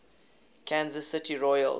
kansas city royals